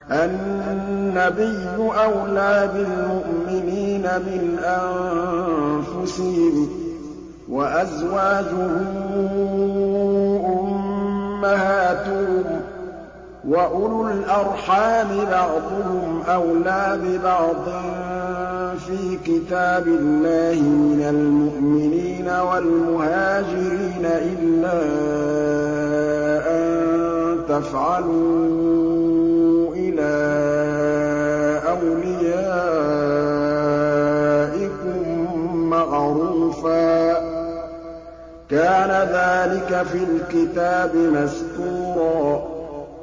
النَّبِيُّ أَوْلَىٰ بِالْمُؤْمِنِينَ مِنْ أَنفُسِهِمْ ۖ وَأَزْوَاجُهُ أُمَّهَاتُهُمْ ۗ وَأُولُو الْأَرْحَامِ بَعْضُهُمْ أَوْلَىٰ بِبَعْضٍ فِي كِتَابِ اللَّهِ مِنَ الْمُؤْمِنِينَ وَالْمُهَاجِرِينَ إِلَّا أَن تَفْعَلُوا إِلَىٰ أَوْلِيَائِكُم مَّعْرُوفًا ۚ كَانَ ذَٰلِكَ فِي الْكِتَابِ مَسْطُورًا